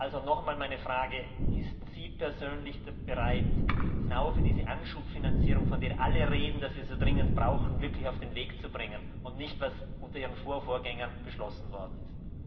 Also nochmals meine Frage Sind Sie persönlich bereit, genau diese Anschubfinanzierung, von der alle sagen, dass wir sie dringend brauchen, wirklich auf den Weg zu bringen und nicht einfach das umzusetzen, was unter Ihren Vorvorgängern beschlossen worden ist?